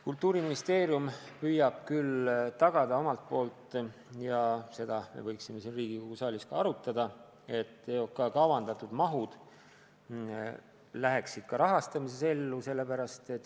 Kultuuriministeerium püüab küll tagada omalt poolt – ja seda me võiksime siin Riigikogu saalis ka arutada –, et EOK kavandatud mahud ka rahastamisel realiseeruks.